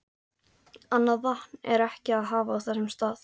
Annað vatn er ekki að hafa á þessum stað.